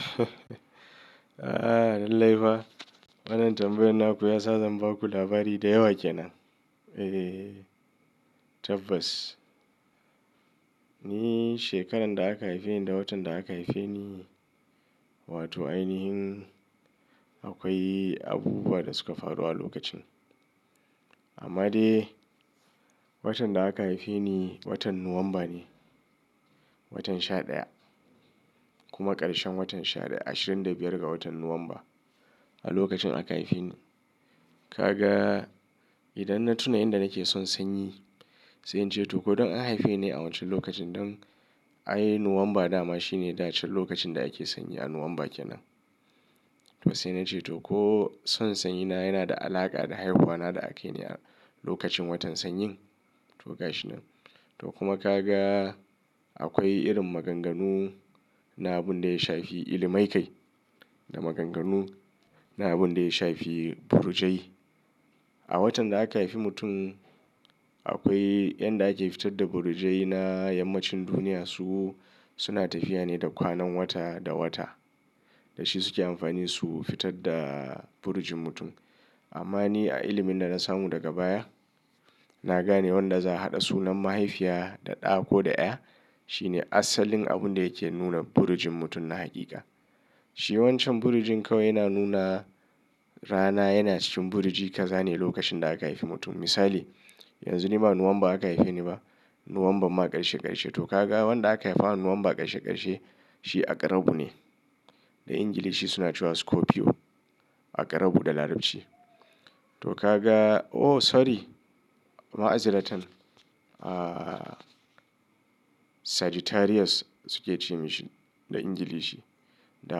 Aaa, lallai fa. Wannan tambayar na ku ya sa zan ba ku labari da yawa ke nan. Eh, tabbas. Ni shekarar da aka haife ni da watan da aka haife ni, wato ainihin akwai abubuwa da suka faru a lokacin. Amma dai, watan da aka haife ni watan Nuwamba ne. Watan sha ɗaya kuma ƙarshen watan sha ɗaya, 25 ga watan Nuwamba a lokacin aka haife ni. Kaga idan na tuna in da nake son sanyi, sai in ce to ko don an haife ni a wancan lokacin don ai Nuwamba dama shine da can lokacin da ake sanyi a Nuwamba ke nan. To sai na ce to ko son sanyi na yana da alaƙa da haihuwa na da aka yi ne a lokacin watan sanyin. To gashi nan. To kuma ka ga akwai irin maganganu na abun da ya shafi ilimai kai da maganganu na abun da ya shafi burjai. A watan da aka haifi mutum, akwai yanda ake fitar da burjai na yammacin duniya su suna tafiya ne da kwanan wata da wata. Da shi suke amfani su fitar da burjin mutum. Amma ni a ilimin da na samu daga baya, na gane wanda za a haɗa sunan mahaifiya da ɗa ko da ƴa shine asalin abun da yake nuna burjin mutum na haƙiƙa. Shi wancan burujin kawai yana nuna rana yana cikin buruji ka zane lokacin da aka haifi mutum. Misali, yanzu ni ba Nuwamba aka haife ni ba. Nuwamba ma ƙarshe ƙarshe. To ka ga wanda aka haifa Nuwamba ƙarshe ƙarshe shi a ƙarabu ne. Da Ingilishi suna cewa Scorpio. A ƙarabu da Larabci. To ka ga, oh sorry. Ma'aziratun. Ah, Sagittarius suke ce mishi da Ingilishi. Da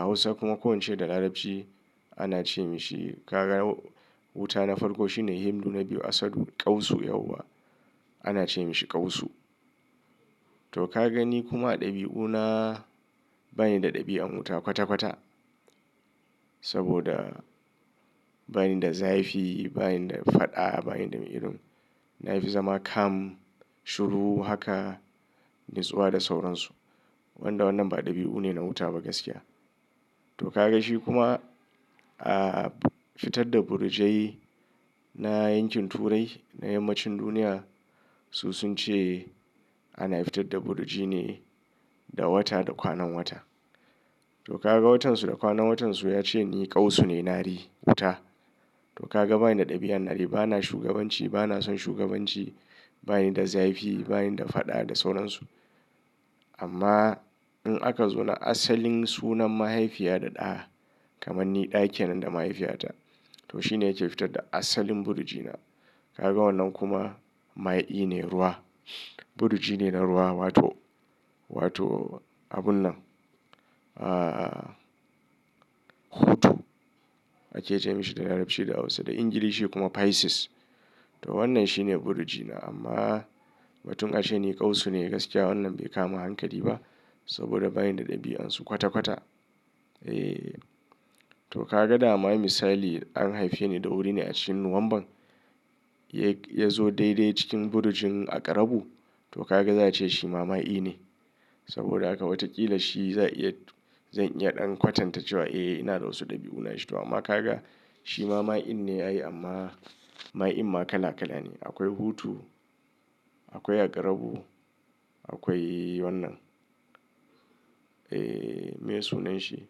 Hausa kuma ko wance da Larabci ana ce mishi ka ga wuta na farko shine himdu na biyu asadun ƙausu yauwa. Ana ce mishi ƙausu. To ka gani kuma ɗabi'una bani da ɗabi'an wuta kwata kwata. Saboda bani da zafi, bani da faɗa, bani da mi'irin. Na fi zama calm, shuru haka, natsuwa da sauransu. Wanda wannan ba ɗabi'u ne na wuta ba gaskiya. To ka ga shi kuma, ah, fitar da burjai na yankin turai na yammacin duniya su sun ce ana fitar da burji ne da wata da kwanan wata. To ka ga watan su da kwanan watan su ya ce ni ƙausu ne, nari, wuta. To ka ga bani da ɗabi'an nari, bana shugabanci, bana son shugabanci, bani da zafi, bani da faɗa da sauransu. Amma in aka zo na asalin sunan mahaifiya da ɗa, kamar ni ɗa ke nan da mahaifiyata, to shi ne yake fitar da asalin buriji na. Ka ga wannan kuma ma'i ne, ruwa. Burji ne na ruwa wato, wato abun nan. Ah, hutu ake ce mishi da Larabci da Hausa, da Ingilishi kuma Pisces. To wannan shi ne burji na amma watun aka ce ni ƙausu ne gaskiya wannan bai kama hankali ba saboda bani da ɗabi'un su kwata kwata. Eh. To ka ga dama misali an haife ni da wuri ne a cikin Nuwamban ya zo daidai cikin burujin a ƙarabu to ka ga za a ce shi ma ma'i ne. Saboda haka watakila shi za iya, zan iya ɗan kwatanta cewa eh ina da wasu ɗabi'una shi. To amma ka ga shi ma ma'i ne ai amma ma'i ma kala kala ne. Akwai hutu, akwai a ƙarabu, akwai wannan. Eh, me sunan shi?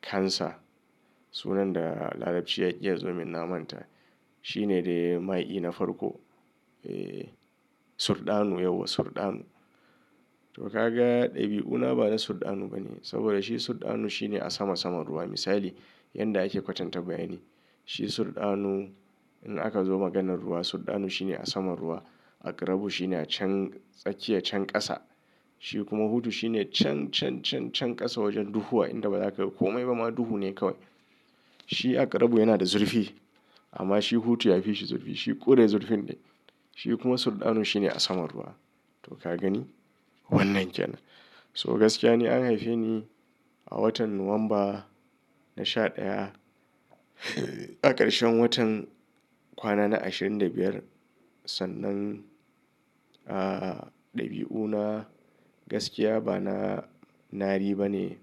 Cancer. Sunan da Larabci ya iya zo min na manta. Shi ne dai ma'i na farko. Eh, surɗanu yauwa surɗanu. To ka ga ɗabi'una ba na surɗanu bane saboda shi surɗanu shi ne a sama sama ruwa. Misali yanda ake kwatantawa yane. Shi surɗanu in aka zo maganar ruwa surɗanu shi ne a sama ruwa. A ƙarabu shi ne a can tsakiya can ƙasa. Shi kuma hutu shi ne can, can, can, can ƙasa wajen duhuwa in da ba za ka komai ba ma duhu ne kawai. Shi a ƙarabu yana da zurfi amma shi hutu yafi shi zurfi. Shi ƙure zurfin dai. Shi kuma surɗanu shi ne a sama ruwa. To ka gani wannan ke nan. So gaskiya ni an haife ni a watan Nuwamba na sha ɗaya a ƙarshen watan kwana na ashirin da biyar sannan, ah, ɗabi'una gaskiya ba na nari bane.